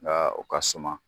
Nka o ka suma.